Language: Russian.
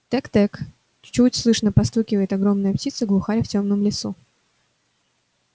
тэк-тэк чуть слышно постукивает огромная птица глухарь в тёмном лесу